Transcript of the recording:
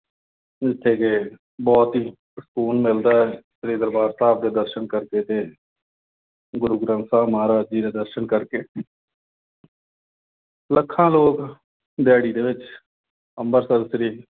ਉਥੇ ਬਹੁਤ ਹੀ ਸਕੂਨ ਮਿਲਦਾ, ਸ੍ਰੀ ਦਰਬਾਰ ਸਾਹਿਬ ਦੇ ਦਰਸ਼ਨ ਕਰਕੇ ਤੇ ਗੁਰੂ ਗ੍ਰੰਥ ਸਾਹਿਬ ਮਹਾਰਾਜ ਜੀ ਦੇ ਦਰਸ਼ਨ ਕਰਕੇ। ਲੱਖਾਂ ਲੋਕ ਦਿਹਾੜੀ ਦੇ ਵਿੱਚ ਅੰਮ੍ਰਿਤਸਰ ਸ੍ਰੀ